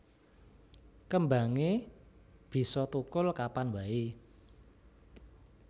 Kembangé bisa thukul kapan waé